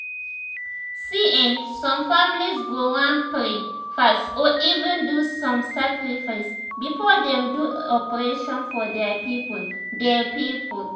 see[um]some families go wan pray fast or even do some sacrifices before dem do operation for dia people dia people